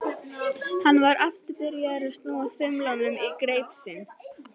Hann var aftur byrjaður að snúa þumlunum í greip sinni.